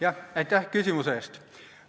Jah, aitäh küsimuse eest!